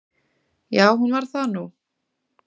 Já, hún varð það nú.